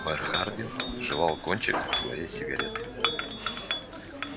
мэр хардин жевал кончик своей сигареты